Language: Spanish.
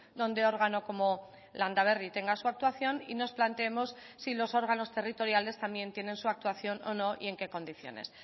donde órgano como landaberri tenga su actuación y nos planteemos si los órganos territoriales también tienen su actuación o no y en qué condiciones